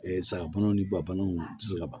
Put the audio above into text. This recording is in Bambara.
sagaboani ni babanaw ti se ka ban